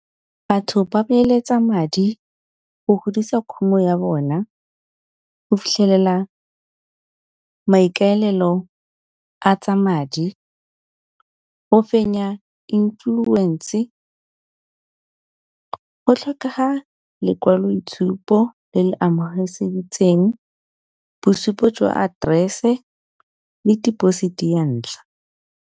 Batho ba beeletsa madi go godisa khumo ya bona go fitlhelela maikaelelo a tsa madi, go fenya influence. Go tlhokega lekwaloitshupo le le amogelesegileng, bosupo jwa aterese le deposit ya ntlha.